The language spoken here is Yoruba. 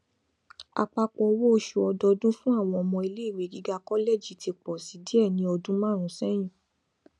àpapọ owó oṣù ọdọọdún fún àwọn ọmọ ilé ìwé gíga kọlẹji ti pọ si díẹ ni ọdún márùnún sẹyìn